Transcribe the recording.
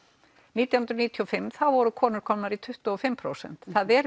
nítján hundruð níutíu og fimm voru konur komnar í tuttugu og fimm prósent það er